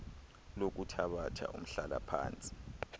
lokuthabatha umhlala phantsi